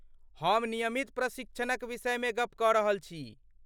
हम नियमित प्रशिक्षणक विषय मे गप्प क रहल छी।